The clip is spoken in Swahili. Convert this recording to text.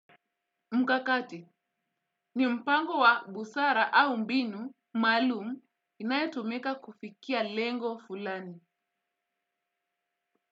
Mkakati, ni mpango wa busara au mbinu maalumu inayotumika kufikia lengo fulani.